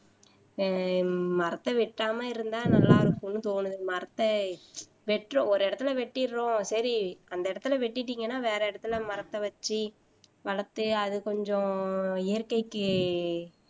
ஆஹ் மரத்த வெட்டாம இருந்தா நல்லா இருக்கும்னு தோணுது மரத்த வெட்டுறோம் ஒரு இடத்துல வெட்டிடறோம் சரி அந்த இடத்துல வெட்டிட்டீங்கன்னா வேற இடத்துல மரத்த வெச்சு வளர்த்து அது கொஞ்சம் இயற்கைக்கு